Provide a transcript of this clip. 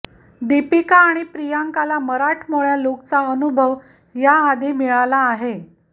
दीपिका आणि प्रियांकाला मराठमोळ्या लुकचा अनुभव याआधी मिळाला आहे